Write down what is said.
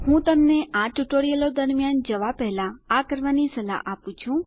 હું તમને આ ટ્યુટોરીયલો દરમ્યાન જવા પહેલા આ કરવાની સલાહ આપું છું